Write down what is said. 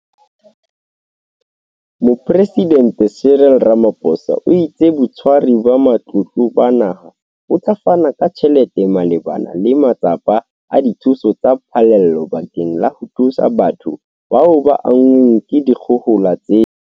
Mopresidente Cyril Ramaphosa o itse Botshwari ba Matlotlo ba Naha bo tla fana ka tjhelete malebana le matsapa a dithuso tsa phallelo bakeng la ho thusa batho bao ba anngweng ke dikgohola tsena.